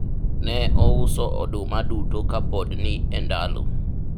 ne ouso oduma duto ka pod ni e ndalo